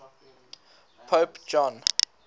pope john